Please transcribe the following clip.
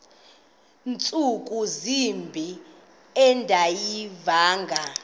ntsuku zimbin andiyivanga